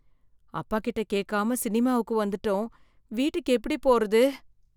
அப்பா கிட்ட கேட்காம சினிமாவுக்கு வந்துட்டோம், வீட்டுக்கு எப்படி போறது.